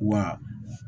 Wa